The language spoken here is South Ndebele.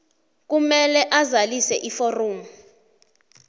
kumele azalise iforomo